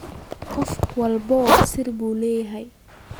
Qof walba sir buu leeyahay.